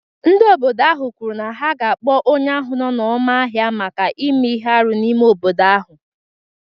Ndị obodo ahụ kwuru na ha ga-akpọ onye ahụ nọ n’ọma ahịa maka ime ihe arụ n’ime obodo ahụ.